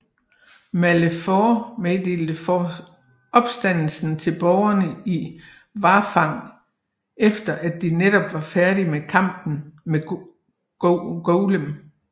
Malefor meddelte opstandelsen til borgerne i Warfang efter at de netop var færdige med kampen med Golem